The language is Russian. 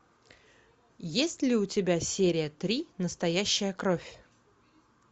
есть ли у тебя серия три настоящая кровь